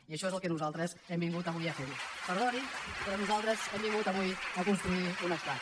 i això és el que nosaltres hem vingut avui a fer perdonin però nosaltres hem vingut avui a construir un estat